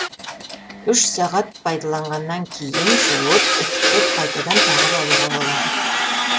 үш сағат пайдаланғаннан кейін жуып үтіктеп қайтадан тағып алуға болады